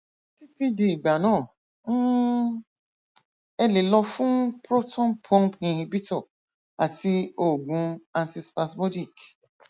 títí di ìgbà náà um ẹ lè lọ fún proton pump inhibitor àti òògùn anti spasmodic